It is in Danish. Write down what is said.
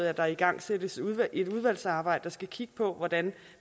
at der igangsættes et udvalgsarbejde der skal kigge på hvordan